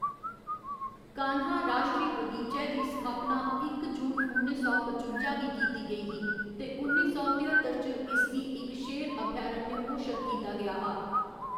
कान्हा राश्ट्री बगीचै दी स्थापना इक जून, उन्नी सौ पचुंजा गी कीती गेई ही ते उन्नी सौ तेअत्तर च इसगी इक शेर अभयारण्य घोशत कीता गेआ हा।